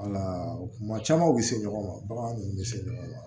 Wala kuma caman u bɛ se ɲɔgɔn ma baganw bɛ se ɲɔgɔn ma